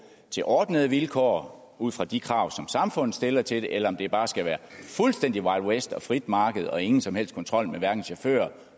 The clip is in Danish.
ordnede vilkår ud fra de krav som samfundet stiller til det eller det bare skal være fuldstændig wild west og et frit marked og ingen som helst kontrol med chauffører